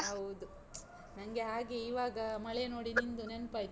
ಹೌದು, ನಂಗೆ ಹಾಗೆ ಈವಾಗ ಮಳೆ ನೋಡಿ ನಿಂದು ನೆನ್ಪಾಯ್ತು.